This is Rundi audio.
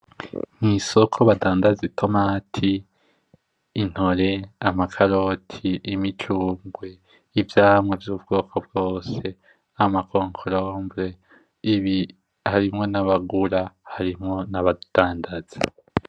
Mwisoko badandaza itomati, intore, amakaroti, imicungwe, ivyamwa vyubwoko vyose, amakonkombere ibi, harimwo n'abagura harimwo n'abadandaza.